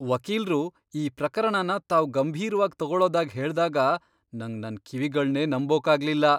ವಕೀಲ್ರು ಈ ಪ್ರಕರಣನ ತಾವ್ ಗಂಭೀರ್ವಾಗ್ ತಗೊಳೋದಾಗ್ ಹೇಳ್ದಾಗ ನಂಗ್ ನನ್ ಕಿವಿಗಳ್ನೇ ನಂಬೋಕಾಗ್ಲಿಲ್ಲ.